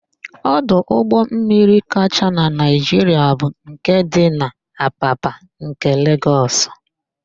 Ọdụ ụgbọmmiri kacha na Naịjiria bu nke dị n'Apapa nke Legọs.